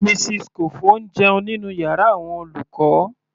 Mrs Kofo ń jẹun nínú yàrá àwọn olùkọ́.